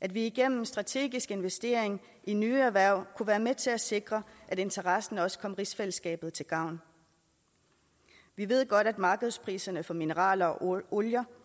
at vi igennem strategisk investering i nye erhverv kunne være med til at sikre at interessen også kom rigsfællesskabet til gavn vi ved godt at markedspriserne for mineraler og olie